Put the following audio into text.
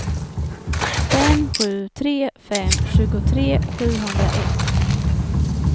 fem sju tre fem tjugotre sjuhundraett